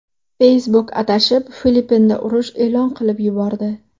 Facebook adashib Filippinda urush e’lon qilib yubordi.